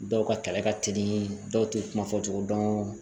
Dɔw ka kɛlɛ ka teli dɔw tɛ kuma fɔcogo dɔn